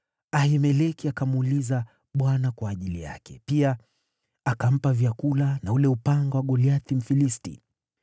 Ahimeleki akamuuliza Bwana kwa ajili yake; pia akampa vyakula na ule upanga wa Goliathi Mfilisti.”